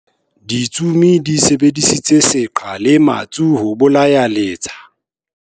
Ditsomi di sebedisitse seqha le metsu ho bolaya letsa.